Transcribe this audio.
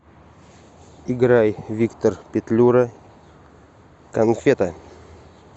играй виктор петлюра конфета